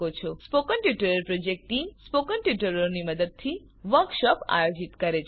spoken tutorial project team spoken ટ્યુટોરીયલોની મદદથી workshop આયોજિત કરે છે